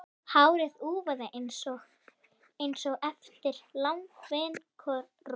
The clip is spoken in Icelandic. Hárið úfið einsog eftir langvinnt rok.